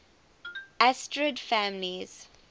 asterid families